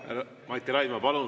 Mati Raidma, palun!